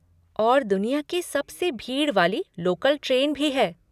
और दुनिया की सबसे भीड़ वाली लोकल ट्रेन भी है।